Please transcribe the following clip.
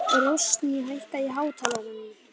Rósný, hækkaðu í hátalaranum.